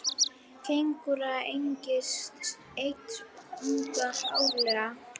Kengúrur eignast einn unga árlega.